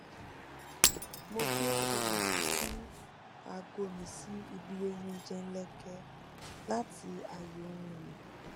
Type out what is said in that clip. mo gbé ohùndídún aago mi sí ibi orin jẹlẹnkẹ láti ààyo orin mi